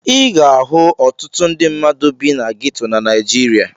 Ị ga-ahụ ọtụtụ ndị mmadụ bi na geto na Naịjirịa.